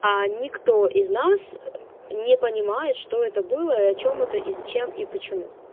а никто из нас не понимает что это было и о чём это и зачем и почему